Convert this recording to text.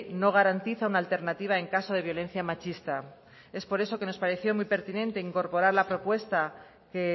no garantiza una alternativa en caso de violencia machista es por eso que nos pareció muy pertinente incorporar la propuesta que